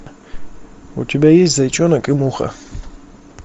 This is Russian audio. у тебя есть зайчонок и муха